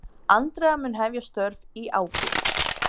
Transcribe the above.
Andrea mun hefja störf í ágúst.